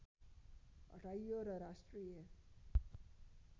हटाइयो र राष्ट्रिय